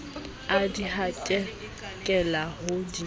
a di hadikela ho di